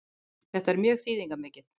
Þetta er mjög þýðingarmikið